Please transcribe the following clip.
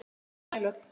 Sæl öll.